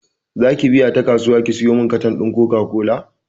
Zaki biya ta kasuwa ki siyomin katan ɗin koka kola?